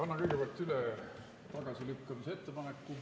Annan kõigepealt üle tagasilükkamise ettepaneku.